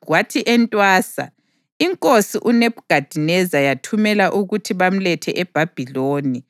Kwathi entwasa, inkosi uNebhukhadineza yathumela ukuthi bamlethe eBhabhiloni,